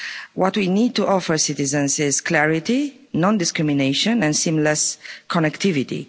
What we need to offer citizens is clarity, non discrimination and seamless connectivity.